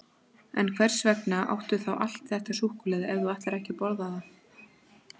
En hvers vegna áttu þá allt þetta súkkulaði ef þú ætlar ekki að borða það?